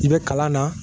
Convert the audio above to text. I bɛ kalan na